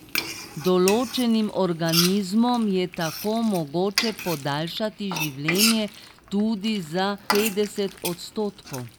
Določenim organizmom je tako mogoče podaljšati življenje tudi za petdeset odstotkov.